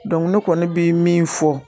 ne kɔni bɛ min fɔ